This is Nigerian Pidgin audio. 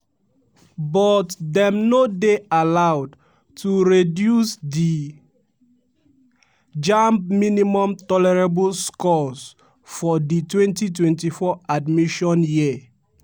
but dem no dey allowed to reduce di jamb minimum tolerable scores for di 2024 admission year.